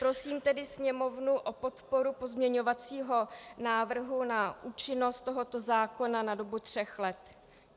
Prosím tedy Sněmovnu o podporu pozměňovacího návrhu na účinnost tohoto zákona na dobu tří let.